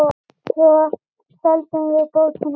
Svo seldum við bókina líka.